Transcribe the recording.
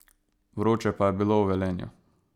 Vroče pa je bilo v Velenju.